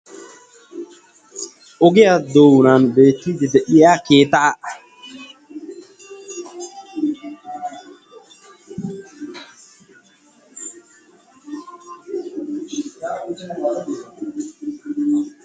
ogiyaa doonan beettidi de'iya keeta